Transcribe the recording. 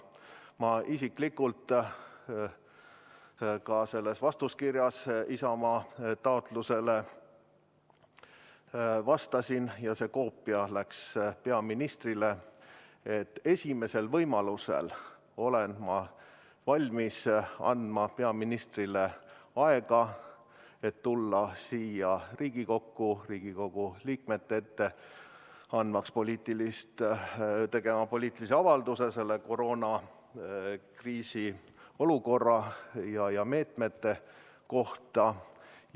Ma isiklikult vastasin Isamaa taotlusele kirjaga – ja see koopia läks peaministrile –, kus ma kinnitasin, et ma olen valmis andma esimesel võimalusel peaministrile aega, et ta saaks tulla siia Riigikokku Riigikogu liikmete ette tegema poliitilise avalduse koroonakriisiga seotud meetmete kohta.